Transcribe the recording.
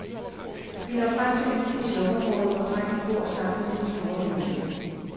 Vi når frem til hytten i slumområdet, hvor drengen bor sammen med sin store familie.